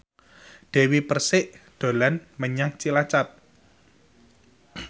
Dewi Persik dolan menyang Cilacap